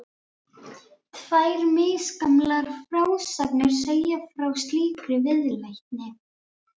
Tvær misgamlar frásagnir segja frá slíkri viðleitni.